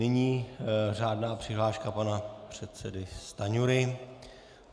Nyní řádná přihláška pana předsedy Stanjury.